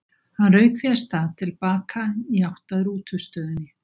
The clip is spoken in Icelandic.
Hann rauk því af stað til baka í átt að rútustöðinni.